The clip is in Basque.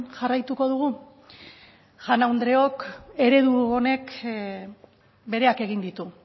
jarraituko dugu jaun andreok eredu honek bereak egin ditu